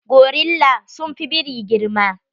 Gorilla sun fi biri girma.